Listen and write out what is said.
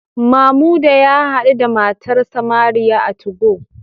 Mamuda ya hadu da matarsa ​​Mariam a 2go